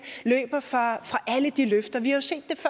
løber fra alle de løfter vi